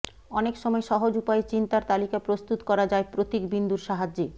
অনেক সময় সহজ উপায়ে চিন্তার তালিকা প্রস্তুত করা যায় প্রতিক বিন্দুর সাহায্যে